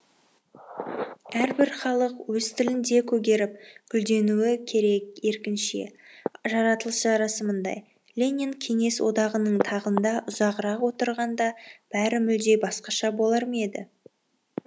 әрбір халық өз тілінде көгеріп гүлдеуі керек еркінше жаратылыс жарасымындай ленин кеңес одағының тағында ұзағырақ отырғанда бәрі мүлде басқаша болар ма еді